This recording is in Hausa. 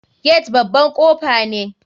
Gate baban kofa ne.